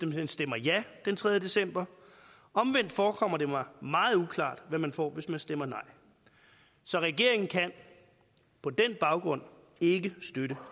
man stemmer ja den tredje december omvendt forekommer det mig meget uklart hvad man får hvis man stemmer nej så regeringen kan på den baggrund ikke støtte